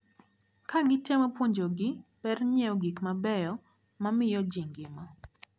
Kagitemo puonjogi ber nyiewo gikmabeyo mamiyo ji ngima.